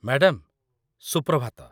madam, Suprabhat